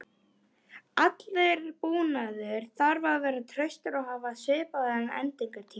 Allur búnaður þarf að vera traustur og hafa svipaðan endingartíma.